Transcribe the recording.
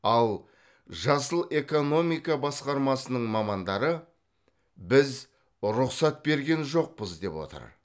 ал жасыл экономика басқармасының мамандары біз рұқсат берген жоқпыз деп отыр